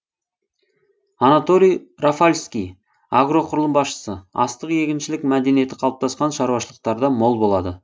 анатолий рафальский агроқұрылым басшысы астық егіншілік мәдениеті қалыптасқан шаруашылықтарда мол болады